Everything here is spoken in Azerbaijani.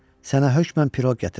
Sənə hökmən piroq gətirəcəm.